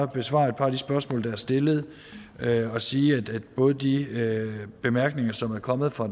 besvare et par af de spørgsmål der er stillet og sige at både de bemærkninger som er kommet fra